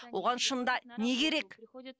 оған шынында не керек